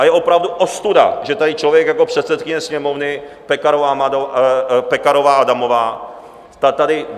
A je opravdu ostuda, že tady člověk jako předsedkyně Sněmovny Pekarová Adamová, ta tady...